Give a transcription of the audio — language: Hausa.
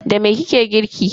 Da me kike girki?